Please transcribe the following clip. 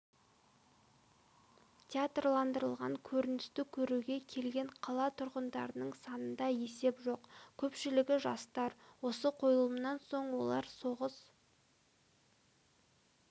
театрландырылған көріністі көруге келген қала тұрғындарының санында есеп жоқ көпшілігі жастар осы қойылымнан соң олар соғыс